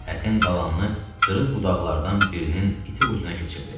Ətin qalanını qırıq budaqlardan birinin iti ucuna keçirdi.